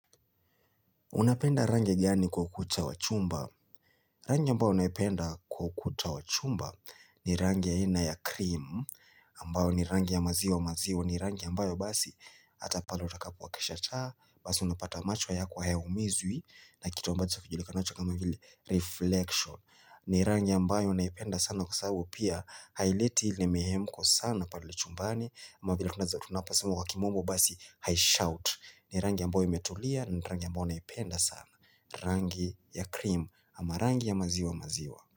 Unapenda rangi gani kwa ukuta wachumba? Rangi ambayo naipenda kwa ukuta wa chumba ni rangi ya ina ya cream, ambayo ni rangi ya maziwa maziwa, ni rangi ambayo basi hata pale utakapoakisha taa, basi unapata macho yako hayaumizwi, na kitu ambacho kijulikanacho kama hili reflection. Ni rangi ambayo naipenda sana kwa sababu pia haileti ile mihemko sana pale chumbani ama vila kuna za tunaposema kwa kimombo basi haishout ni rangi ambayo imetulia na rangi ambayo naipenda sana rangi ya krimu ama rangi ya maziwa maziwa.